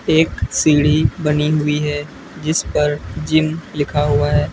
एक सीढ़ी बनी हुई है जिस पर जिम लिखा हुआ है।